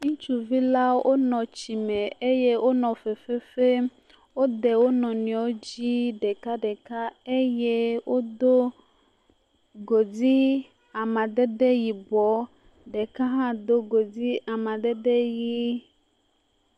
Ŋutsuvila wonɔ tsime eye wnɔ fefe fem. Wode wo nɔnɔewo dzi ɖekaɖeka eye wodo godi amadede yibɔɔ. Ɖeka hã do godi amadede yii.